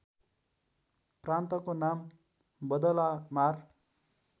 प्रान्तको नाम बदलामार